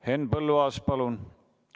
Henn Põlluaas, palun!